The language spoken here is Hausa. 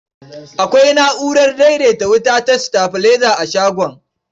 Akwai na'urar daidaita wuta ta sitabilaiza a shagon.